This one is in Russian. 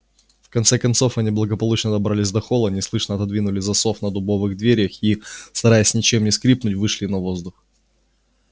в конце концов они благополучно добрались до холла неслышно отодвинули засов на дубовых дверях и стараясь ничем не скрипнуть вышли на воздух